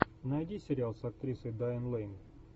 найди сериал с актрисой дайан лэйн